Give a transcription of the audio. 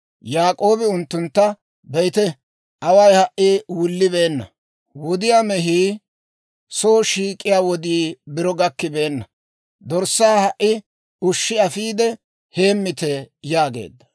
Yaak'oobi unttuntta, «Be'ite; away ha"i wullibeena; wudiyaa mehii soo shiik'iyaa wodii biro gakkibeenna; dorssaa ha"i ushshi afiide, heemmite» yaageedda.